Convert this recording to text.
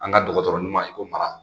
An ga dɔkɔtɔrɔ ɲuman in ko Mara.